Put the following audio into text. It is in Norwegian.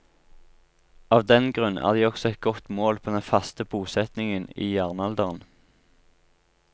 Av den grunn er de også et godt mål på den faste bosetningen i jernalderen.